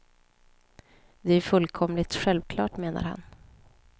Det är ju fullkomligt självklart, menar han.